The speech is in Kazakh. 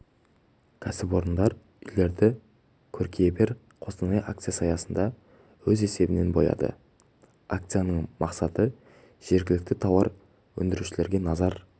кәсіпорындар үйлерді көркейе бер қостанай акциясы аясында өз есебінен бояйды акцияның мақсаты жергілікті тауар өндірушілерге назар